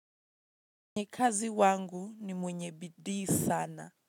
Mwenye kazi wangu ni mwenye bidii sana.